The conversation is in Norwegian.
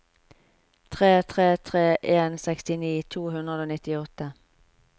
tre tre tre en sekstini to hundre og nittiåtte